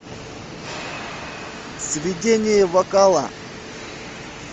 сведение вокала